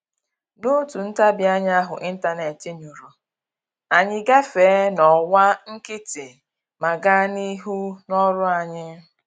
N'otu ntabianya ahụ ịntanetị nyụrụ, anyị gafee n'ọwa nkịtị ma gaa n'ihu n'ọrụ anyị